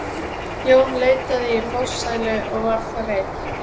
Jón leitaði í forsælu og var þar einn.